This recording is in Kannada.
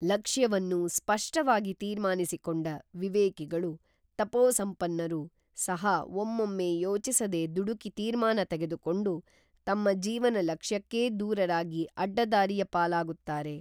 ಲಕ್ಷ್ಯವನ್ನು ಸ್ಪಷ್ಟವಾಗಿ ತೀರ್ಮಾನಿಸಿ ಕೊಂಡ ವಿವೇಕಿಗಳು ತಪೋ ಸಂಪನ್ನರು ಸಹಾ ಒಮ್ಮೊಮ್ಮೆ ಯೋಚಿಸದೆ ದುಡುಕಿ ತೀರ್ಮಾನ ತೆಗೆದುಕೊಂಡು ತಮ್ಮ ಜೀವನ ಲಕ್ಷ್ಯಕ್ಕೇ ದೂರರಾಗಿ ಅಡ್ಡ ದಾರಿಯ ಪಾಲಾಗುತ್ತಾರೆ